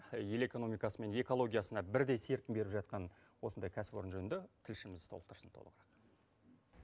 ел экономикасы мен экологиясына бірдей серпін беріп жатқан осындай кәсіпорын жөнінде тілшіміз толықтырсын толығырақ